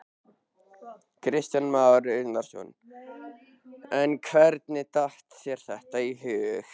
Kristján Már Unnarsson: En hvernig datt þér þetta í hug?